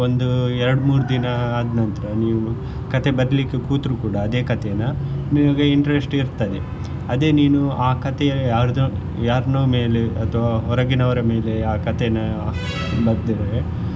ಒಂದು ಎರಡ್ ಮೂರ್ ದಿನ ಆದ್ನಂತರ ನೀವು ಕಥೆ ಬರಿಲಿಕ್ಕೆ ಕೂತ್ರು ಕೂಡ ಅದೇ ಕಥೆನಾ ನಿಮಗೆ interest ಇರ್ತದೆ ಅದೇ ನೀನು ಆ ಕಥೆಯ ಯಾರ್ದೊ ಯಾರ್ನೋ ಮೇಲೆ ಅಥವಾ ಹೊರಗಿನವರ ಮೇಲೆ ಆ ಕಥೆನಾ ಬರ್ದ್ರೆ.